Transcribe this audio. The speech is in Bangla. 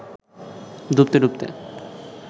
ডুবতে ডুবতে